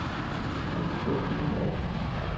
Honum þótti hún ágæt.